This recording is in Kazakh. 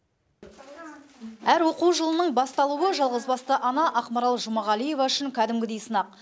әр оқу жылының басталуы жалғызбасты ана ақмарал жұмағалиева үшін кәдімгідей сынақ